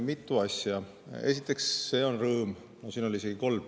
Mitu asja, siin oli neid isegi kolm.